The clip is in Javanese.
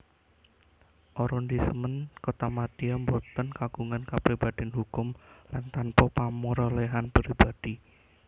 Arondisemen kotamadya boten kagungan kapribadén hukum lan tanpa pameroléhan pribadi